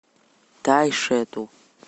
тайшету